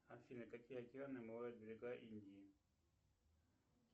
афина какие океаны омывают берега индии